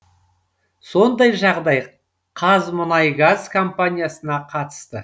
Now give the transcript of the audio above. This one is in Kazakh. сондай жағдай қазмұнайгаз компаниясына қатысты